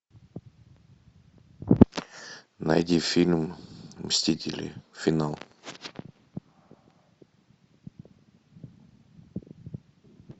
найди фильм мстители финал